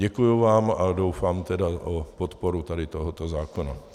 Děkuju vám a doufám tedy v podporu tady toho zákona.